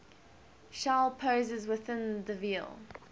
shall possess within the veil